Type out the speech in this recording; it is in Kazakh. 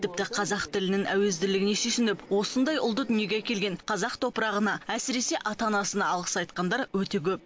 тіпті қазақ тілінің әуезділігіне сүйсініп осындай ұлды дүниеге әкелген қазақ топырағына әсіресе ата анасына алғыс айтқандар өте көп